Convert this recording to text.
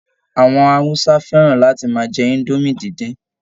Àwọn Hausa fẹ́ràn láti máa jẹ indomie díndín